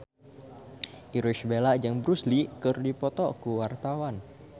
Irish Bella jeung Bruce Lee keur dipoto ku wartawan